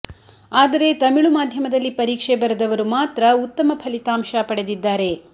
ಆದರೆ ತಮಿಳು ಮಾಧ್ಯಮದಲ್ಲಿ ಪರೀಕ್ಷೆ ಬರೆದವರು ಮಾತ್ರ ಉತ್ತಮ ಫಲಿತಾಂಶ ಪಡೆದಿದ್ದಾರೆ